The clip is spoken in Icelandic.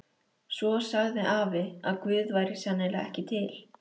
Svo sagði afi að Guð væri sennilega ekki til.